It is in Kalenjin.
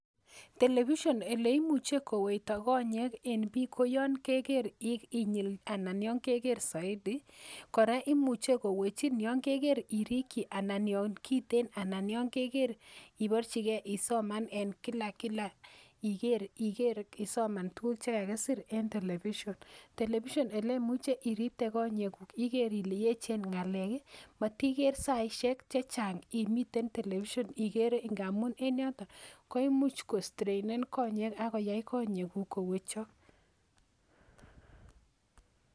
Television eleimuche kowekto konyek yon keker inyil anan yon keker soiti ii koraa koimuche kowechin yon keker iriklji anan yon kiten anan yon keker iborji kee isoman en kila kila isoman tuguk chakakisir en television, television elemuche iripte konyekuk iker ile yechen ngalek ii moniker saishek chechang imiten television ngamun en yoto koimuch kostrenen konyek ak koyai konyekuk kowechok.